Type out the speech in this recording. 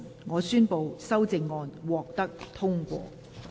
我宣布修正案獲得通過。